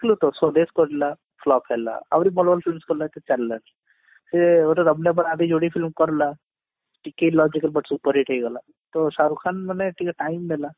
ସ୍ଵଦେଶ କରିଲା flop ହେଲା ଆହୁରି ଭଲ ଭଲ films କଲା କିଛି ଚାଲିଲାନି ସେ ଗୋଟେ ରବନେ ବନାଦି ଯୋଡି film କରିଲା superhit ହେଇଗଲା ତ ଶାହରୁଖ ଖାନ ମାନେ ଟିକେ time ନେଲା